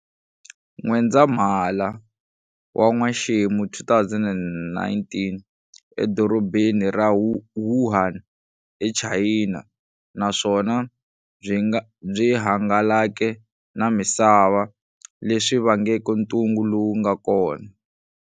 N'wendzamhala wa n'wexemo 2019, e dorobheni ra Wuhan, e Chayina, naswona byi hangalake na misava, leswi vangeke ntungu lowu nga kona.